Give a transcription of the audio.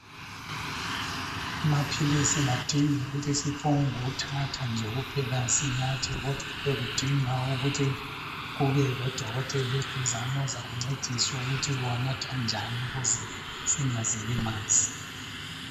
Amaphilisi kadingi ukuthi siphonguthatha nje kuphela sinathe kodwa kudinga ukuthi kubelodokotela eduzane ozakuncedisa ukuthi uwanatha njan ukuze singazilimazi.